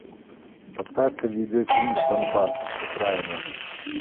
поставь ка видеофильм донбасс окраина